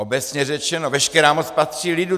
Obecně řečeno, veškerá moc patří lidu.